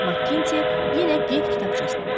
Makkinni yenə qeyd kitabçasına baxdı.